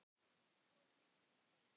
Blómin eru bleik.